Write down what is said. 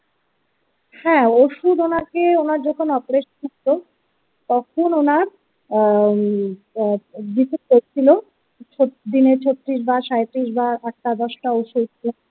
হ্যাঁ ওষুধ ওনাকে ওনার যখন অপারেশন করতো তখন ওনার উম ভিজিট করছিলো ছত্রিশ দিনে ছত্রিশ বার সাঁইত্রিশ বার আটটা দশটা ওষুধ।